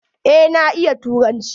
Eh na iya turanci.